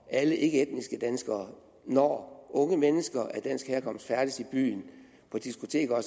alle ikkeetniske danskere skulle når unge mennesker af dansk herkomst færdes i byen på diskoteker